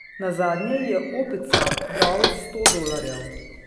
Nazadnje ji je Opica dal sto dolarjev.